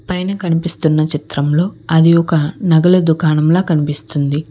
పైన కనిపిస్తున్న చిత్రంలో అది ఒక నగలు దుకాణంలో కనిపిస్తుంది.